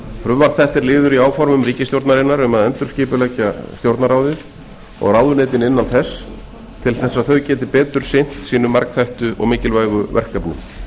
frumvarp þetta er liður í áformum ríkisstjórnarinnar um að endurskipuleggja stjórnarráðið og ráðuneytin innan þess að þau geti betur sinnt sínum margþættu og mikilvægu verkefnum